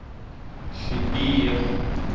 sibiya